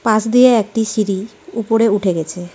পাশ দিয়ে একটি সিঁড়ি উপরে উঠে গেছে .